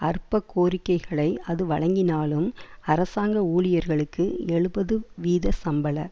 அற்ப கோரிக்கைகளை அது வழங்கினாலும் அரசாங்க ஊழியர்களுக்கு எழுபது வீத சம்பள